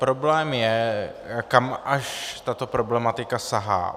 Problém je, kam až tato problematika sahá.